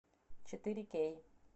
четыре кей